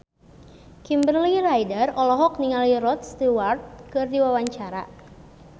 Kimberly Ryder olohok ningali Rod Stewart keur diwawancara